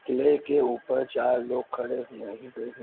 --किले के ऊपर चार लोग खड़े हुए है --